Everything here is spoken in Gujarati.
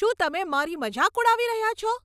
શું તમે મારી મજાક ઉડાવી રહ્યાં છો?